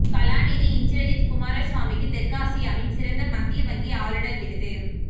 கலாநிதி இந்திரஜித் குமாரசுவாமிக்கு தெற்காசியாவின் சிறந்த மத்திய வங்கி ஆளுநர் விருது